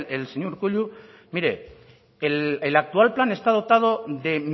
el señor urkullu mire el actual plan está dotado de